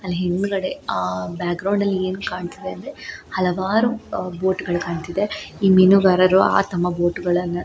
ಅಲ್ಲಿ ಹಿಂದಗಡೆ ಆಹ್ ಬ್ಯಾಕ್ ಗ್ರೌಂಡ್ ಅಲ್ಲಿ ಏನ್ ಕಾಣತ್ತಿದೆ ಅಂದ್ರೆ ಹಲವಾರು ಅಹ್ ಬೋಟ್ ಗಳು ಕಾಣತ್ತಿದೆ. ಈ ಮೀನುಗಾರರು ಆ ತಮ್ಮ ಬೋಟ್ ಗಳನ್ನ --